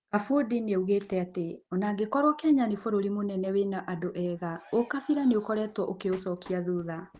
Kabundi nĩaugĩte atĩ, onaangĩkorwo Kenya nĩ bũrũri mũnene wĩna andũega, ũkabira nĩ ũkoretwo ũkĩũcokia thutha.